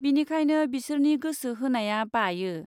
बिनिखायनो बिसोरनि गोसो होनाया बायो।